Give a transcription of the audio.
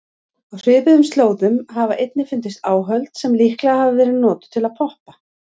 Á svipuðum slóðum hafa einnig fundist áhöld sem líklega hafa verið notuð til að poppa.